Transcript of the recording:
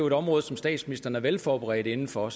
et område som statsministeren er velforberedt inden for